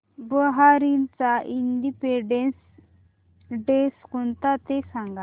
बहारीनचा independence day कोणता ते सांगा